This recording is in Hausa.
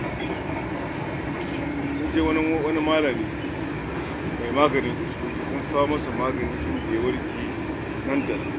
Sun je wajen wani malami mai maganin iskokai, sun samo masa magani, inda ya warke nan da nan.